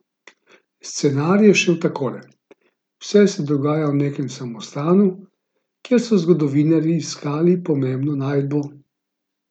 Scenarij je šel takole: "Vse se dogaja v nekem samostanu, kjer so zgodovinarji iskali pomembno najdbo.